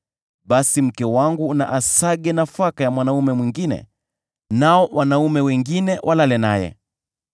basi mke wangu na asage nafaka ya mwanaume mwingine, nao wanaume wengine walale naye.